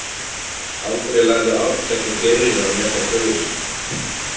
Aldrei lærðu Arnkell og Geirríður að meta föður sinn.